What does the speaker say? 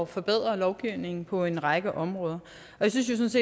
forbedre lovgivningen på en række områder jeg synes